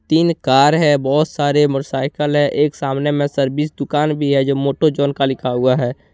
तीन कार है बहुत सारे मोटरसाइकिल है एक सामने में सर्विस दुकान भी है जो मोटो जॉन का लिखा हुआ है।